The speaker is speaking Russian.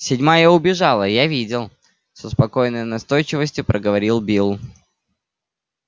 седьмая убежала я видел со спокойной настойчивостью проговорил билл